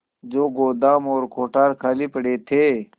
जो गोदाम और कोठार खाली पड़े थे